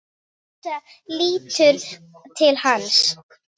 Ása lítur til hans.